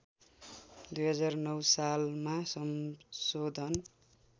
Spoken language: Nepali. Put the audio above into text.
२००९ सालमा संशोधन